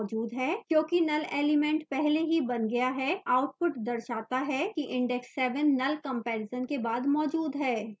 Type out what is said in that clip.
क्योंकि null element पहले ही बन गया है output दर्शाता है कि index 7 null comparison के बाद मौजूद है